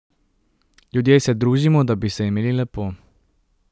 Ljudje se družimo, da bi se imeli lepo ...